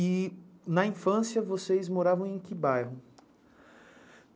E na infância vocês moravam em que bairro?